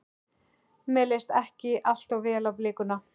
Mér leist ekki allt of vel á blikuna.